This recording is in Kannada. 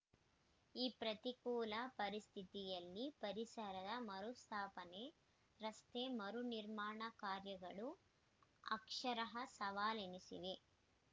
ಈ ಪ್ರತಿಕೂಲ ಪರಿಸ್ಥಿತಿಯಲ್ಲಿ ಪರಿಸರದ ಮರುಸ್ಥಾಪನೆ ರಸ್ತೆ ಮರು ನಿರ್ಮಾಣ ಕಾರ್ಯಗಳು ಅಕ್ಷರಃ ಸವಾಲೆನಿಸಿವೆ